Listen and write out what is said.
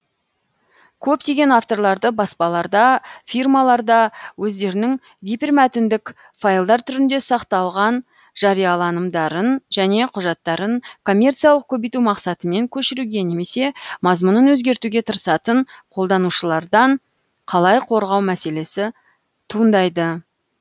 көптеген авторларды баспаларда фирмаларда өздерінің гипермәтіндік файлдар түрінде сақталған жарияланымдарын және құжаттарын коммерциялық көбейту мақсатымен көшіруге немесе мазмұнын өзгертуге тырысатын қолданушылардан қалай қорғау мәселесі туындайды